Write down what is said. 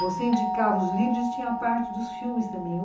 Você indicava os livros e tinha a parte dos filmes também.